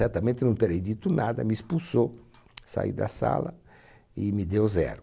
Certamente não terei dito nada, me expulsou, saí da sala e me deu zero.